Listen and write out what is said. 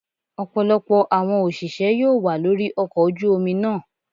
Ọ̀pọ̀lọpọ̀ àwọn òṣìṣẹ́ yóò wà lórí ọkọ ojú omi náà.